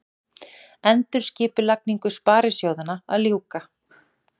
Endurskipulagningu sparisjóðanna að ljúka